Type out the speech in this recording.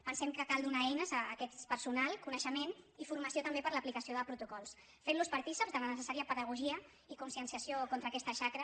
pensem que cal donar eines a aquest personal coneixement i formació també per a l’aplicació de protocols fent los partícips de la necessària pedagogia i conscienciació contra aquesta xacra